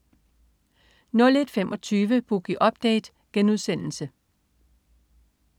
01.25 Boogie Update*